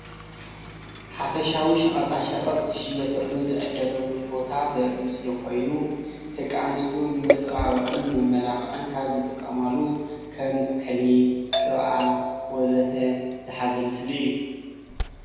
ሓፈሻዊ ሸቀጣ ሸቀጥ ዝሽየጠሉን ዝዕደገሉን ቦታ ዘርኢ ምስሊ ኮይኑ ደቂ አንስትዮ ንመፀባበቅን ንመመላክዕን ካብ ዝጥቀማሉ ከም ኩሕሊ፣ ቅብአት ወዘተ ዝሓዘ ምስሊ እዩ።